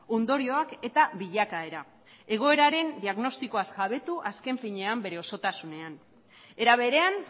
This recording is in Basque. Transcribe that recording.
ondorioak eta bilakaera egoeraren diagnostikoaz jabetu azken finean bere osotasunean era berean